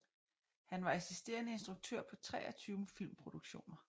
Han var assisterende instruktør på 23 filmproduktioner